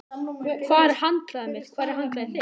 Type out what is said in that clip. Hér er handklæðið mitt. Hvar er handklæðið þitt?